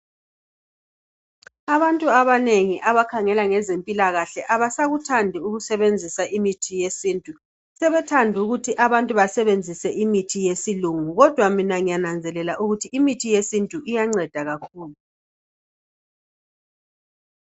Abantu abanengi abakhangela ngezempilakahle abasakuthandi ukusebenzisa imithi yesintu. Sebethanda ukuthi abantu basebenzise imithi yesilungu kodwa mina ngiyananzelela ukuthi imithi yesintu iyanceda kakhulu.